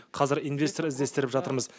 қазір инвестор іздестіріп жатырмыз